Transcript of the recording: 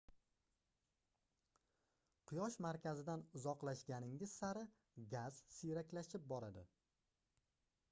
quyosh markazidan uzoqlashganingiz sari gaz siyraklashib boradi